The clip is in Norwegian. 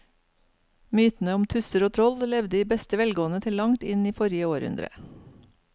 Mytene om tusser og troll levde i beste velgående til langt inn i forrige århundre.